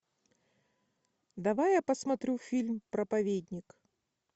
давай я посмотрю фильм проповедник